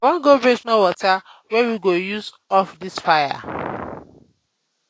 i wan go bring small water wey we go use off dis fire.